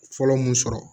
Fɔlɔ mun sɔrɔ